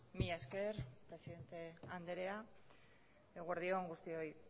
mila esker presidente andrea eguerdion guztioi